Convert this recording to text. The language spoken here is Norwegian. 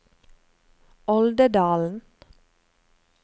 Oldedalen